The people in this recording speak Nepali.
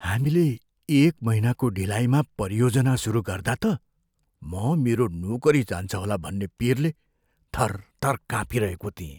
हामीले एक महिनाको ढिलाइमा परियोजना सुरु गर्दा त म मेरो नोकरी जान्छ होला भन्ने पिरले थरथर कापिँरहेको थिएँ।